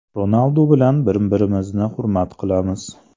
Ronaldu bilan bir-birimizni hurmat qilamiz.